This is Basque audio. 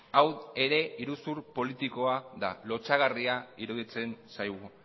hau ere iruzur politikoa da lotsagarria iruditzen zaigu